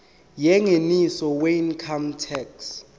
yengeniso weincome tax